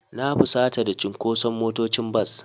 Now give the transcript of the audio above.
Na fusata da cunkoson motocin bas.